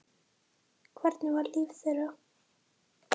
Hvernig var líf þeirra?